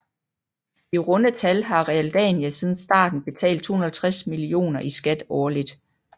I runde tal har Realdania siden starten betalt 250 millioner i skat årligt